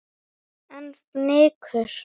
En fnykur